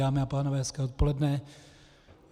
Dámy a pánové, hezké odpoledne.